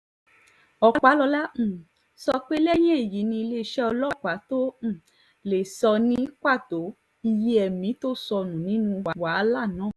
ọpàlọ́la um sọ pé lẹ́yìn èyí ni iléeṣẹ́ ọlọ́pàá tóo um lè sọ ní pàtó iye ẹ̀mí tó sọnù nínú wàhálà náà